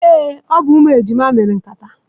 Ee, ọ bụ umu ejima mere nkata.